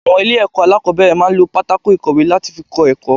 Àwọn ilé èkó alákòóbèrè máa n lo pátákó ìkọ̀wé láti fi kó èkó